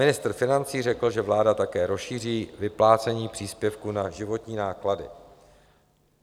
Ministr financí řekl, že vláda také rozšíří vyplácení příspěvku na životní náklady.